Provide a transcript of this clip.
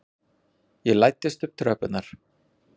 Ég læddist upp tröppurnar.